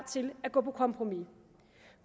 til at gå på kompromis